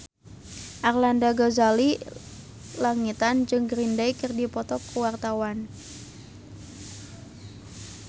Arlanda Ghazali Langitan jeung Green Day keur dipoto ku wartawan